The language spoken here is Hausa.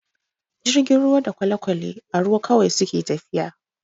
Jirgin ruwa da kwale-kwale a ruwa kawai suke tafiya.